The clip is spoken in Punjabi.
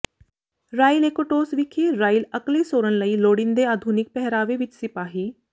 ਰਾਇਲ ਏਕੋਟੌਸ ਵਿਖੇ ਰਾਇਲ ਅਕਲੇਸੋਰਨ ਲਈ ਲੋੜੀਂਦੇ ਆਧੁਨਿਕ ਪਹਿਰਾਵੇ ਵਿਚ ਸਿਪਾਹੀ